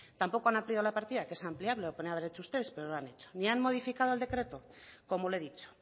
tampoco han ampliado la partida que es ampliarlo lo podrían haber hecho ustedes pero no lo han hecho ni han modificado el decreto como le he dicho